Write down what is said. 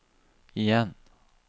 igjen